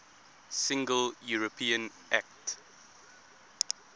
single european act